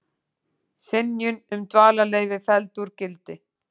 Synjun um dvalarleyfi felld úr gildi